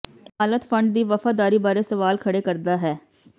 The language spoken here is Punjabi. ਇਹ ਹਾਲਤ ਫੰਡ ਦੀ ਵਫ਼ਾਦਾਰੀ ਬਾਰੇ ਸਵਾਲ ਖੜ੍ਹੇ ਕਰਦਾ ਹੈ